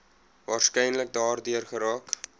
waarskynlik daardeur geraak